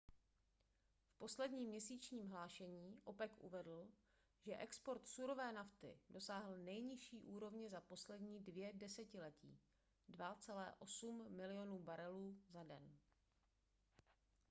v posledním měsíčním hlášení opec uvedl že export surové nafty dosáhl nejnižší úrovně za poslední dvě desetiletí 2,8 milionu barelů za den